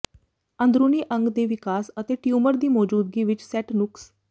ਅੰਦਰੂਨੀ ਅੰਗ ਦੇ ਵਿਕਾਸ ਅਤੇ ਟਿਊਮਰ ਦੀ ਮੌਜੂਦਗੀ ਵਿਚ ਸੈੱਟ ਨੁਕਸ